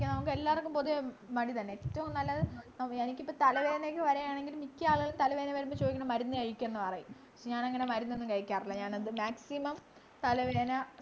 കുടിക്കാൻ നമുക്കെല്ലാവർക്കും പൊതുവെ മടി തന്നെ നമുക് ഏറ്റവും നല്ലത് എനിക്കിപ്പോ തലവേദന ഒക്കെ വരുവാണെങ്കില് മിക്ക ആളുകളും തലവേദന വരുമ്പോ ചോയ്ക്കുന്നത് മരുന്ന് കഴിക്കെന്ന് പറയും ഞാനങ്ങനെ മരുന്നൊന്നും കഴിക്കാറില്ല ഞാനത് maximum തലവേദന